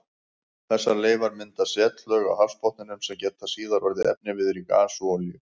Þessar leifar mynda setlög á hafsbotninum sem geta síðar orðið efniviður í gas og olíu.